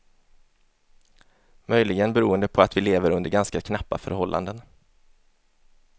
Möjligen beroende på att vi lever under ganska knappa förhållanden.